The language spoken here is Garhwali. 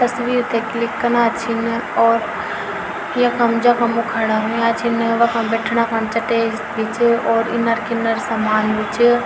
तस्वीर थे क्लिक कना छिन और यखम जखम वू खड़ा हुयां छिन वखम बैठना खन चटे भी च और इनर किनर समान भी च।